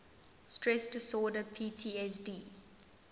stress disorder ptsd